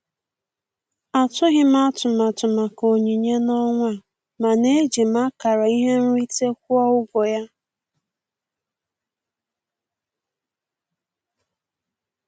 Atụghị m atụmatụ maka onyinye n'ọnwa a, mana eji m akara ihe nrite kwụọ ụgwọ ya.